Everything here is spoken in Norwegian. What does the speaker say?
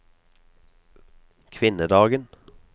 kvinnedagen